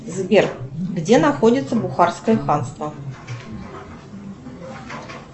сбер где находится бухарское ханство